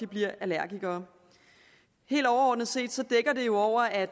bliver allergikere helt overordnet set dækker det jo over at